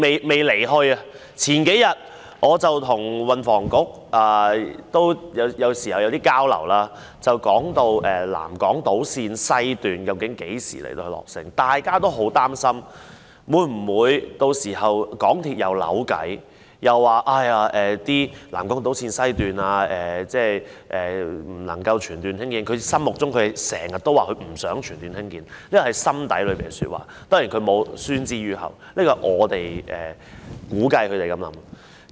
我有時候亦會與運輸及房屋局交流，數天前我們談及南港島綫西段究竟何時落成，大家都很擔心，港鐵公司屆時會否又鬧彆扭，指不能全段興建南港島綫西段——它一直不想全段興建，這是它的心底話，當然沒有宣之於口，這是我們估計港鐵公司的想法。